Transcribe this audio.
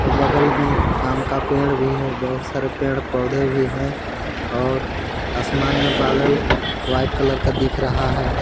बगल में आम का पेड़ भी है बहुत सारे पेड़ पौधे भी हैं और आसमान में बादल व्हाइट कलर का दिख रहा है।